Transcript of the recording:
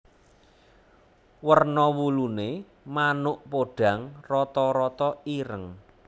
Werna wuluné manuk podhang rata rata ireng